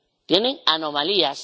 Tienen anomalías.